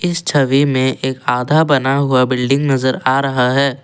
इस छवि में एक आधा बना हुआ बिल्डिंग नजर आ रहा है।